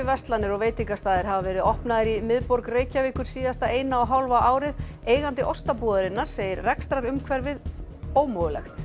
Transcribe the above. verslanir og veitingastaðir hafa verið opnaðir í miðborg Reykjavíkur síðasta eina og hálfa árið eigandi Ostabúðarinnar segir rekstrarumhverfið ómögulegt